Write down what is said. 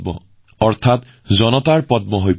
এতিয়া ই হৈ পৰিছে জনতাৰ পদ্ম